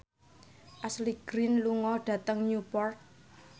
Ashley Greene lunga dhateng Newport